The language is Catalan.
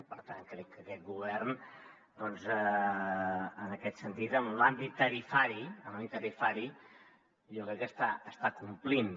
per tant crec que aquest govern en aquest sentit en l’àmbit tarifari en l’àmbit tarifari jo crec que està complint